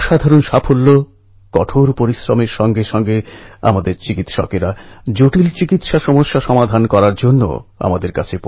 খবরে দেখছিলাম অত্যন্ত গরীব পরিবারের ছেলে এই আশারাম জীবনের কত সমস্যা পার হয়ে সাফল্য অর্জন করেছে